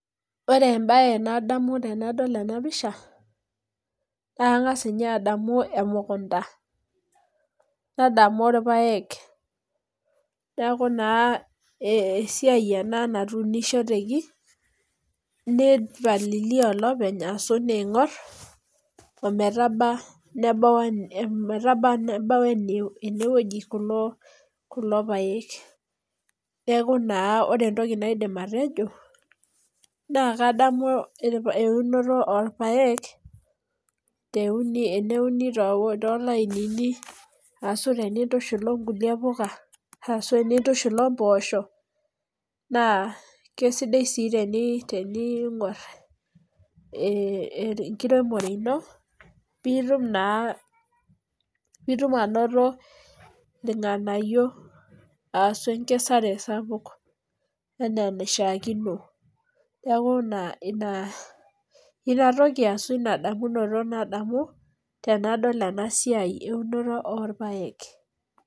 Ore ebae nadamu tenadol ena pisha, naa kangas ninye adamu emukunta, nadamu irpaek neaku naa esiai ena natuunishoteki, nipalilia olopeny arashu neingor ometabau nebau enaa enewueji kulo paek. Neaku naa ore etoki naidim atejo naa kadamu eunoto oorpaek teneuni toolainini ashu tenitushul okulie puka, ashu tenitushul oposhoo, naa kesidai sii teningor ekiremore ino piitum naa anoto irnganayio aasu ekikesare sapuk enaa enaishiakino neaku ina toki endamunoto nadamu tenadol ena siai eunoto oorpaek.